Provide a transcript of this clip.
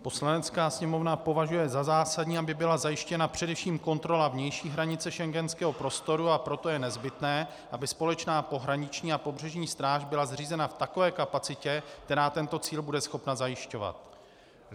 Poslanecká sněmovna považuje za zásadní, aby byla zajištěna především kontrola vnější hranice Schengenského prostoru a proto je nezbytné, aby společná pohraniční a pobřežní stráž byla zřízena v takové kapacitě, která tento cíl bude schopna zajišťovat.